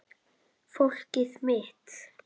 Fólkið mitt